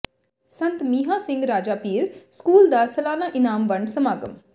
ਸੰਤ Mihan Singh Rajapir school ਦਾ ਸਾਲਾਨਾ ਇਨਾਮ ਵੰਡ ਸਮਾਗਮ